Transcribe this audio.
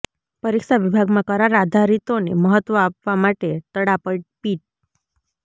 પરીક્ષા વિભાગમાં કરાર આધારીતોને મહત્વ આપવા સામે તડાપીટ